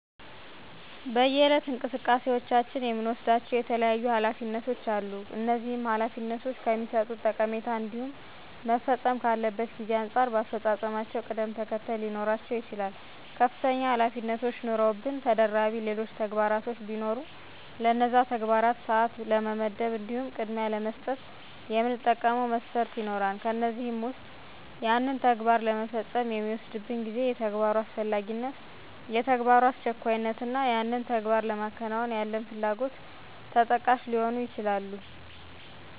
በየዕለት እንቅስቃሴዎቻችን የምንወስዳቸው የተለያዩ ኃላፊነቶች አሉ፤ እነዚህ ኃላፊነቶች ከሚሠጡት ጠቀሜታ እንዲሁም መፈጸም ካለበት ጊዜ አንጻር በአፈፃፀማቸው ቅደም ተከተለ ሊኖራቸው ይችላል። ከፍተኛ ኃላፊነቶች ኑረውብን ተደራቢ ሌሎች ተግባራቶች ቢኖሩ ለነዛ ተግባራት ሰዓት ለመመደብ እንዲሁም ቅድሚያ ለመስጠት የምንጠቀመው መስፈርት ይኖራል፤ ከእነዚህም ዉስጥ ያንን ተግባር ለመፈጸም የሚወስድብን ጊዜ፣ የተግባሩ አስፈላጊነት፣ የተግባሩ አስቸኳይነት እና ያንን ተግባር ለማከናወን ያለን ፍላጎት ተጠቃሽ ሊሆኑ ይችላሉ።